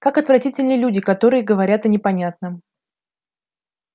как отвратительны люди которые говорят о непонятном